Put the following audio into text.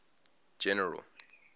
general